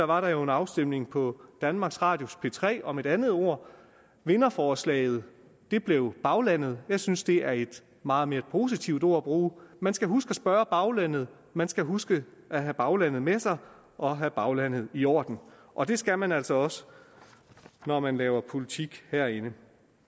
var der jo en afstemning på danmarks radios p3 om et andet ord vinderforslaget blev baglandet jeg synes det er et meget mere positivt ord at bruge man skal huske at spørge baglandet man skal huske at have baglandet med sig og have baglandet i orden og det skal man altså også når man laver politik herinde